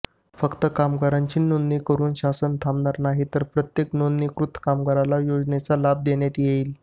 फक्त कामगारांची नोंदणी करून शासन थाबणार नाही तर प्रत्येक नोंदणीकृत कामगाराला योजनेचा लाभ देण्यात येईल